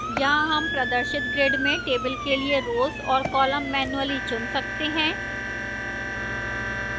यहां हम प्रदर्शित grid में table के लिए rows और columns मैन्युअली चुन सकते हैं